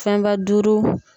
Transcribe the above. Fɛnba duuru